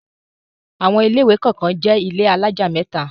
Àwọn ilé-ìwé kọ̀ọ̀kan jẹ́ ilé alájà mẹ́ta.